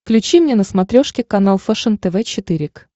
включи мне на смотрешке канал фэшен тв четыре к